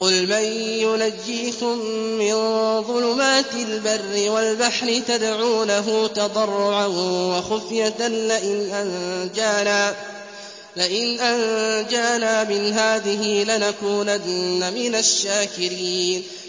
قُلْ مَن يُنَجِّيكُم مِّن ظُلُمَاتِ الْبَرِّ وَالْبَحْرِ تَدْعُونَهُ تَضَرُّعًا وَخُفْيَةً لَّئِنْ أَنجَانَا مِنْ هَٰذِهِ لَنَكُونَنَّ مِنَ الشَّاكِرِينَ